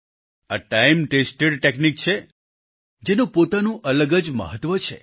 આ time tested technique છે જેનું પોતાનું અલગ જ મહત્વ છે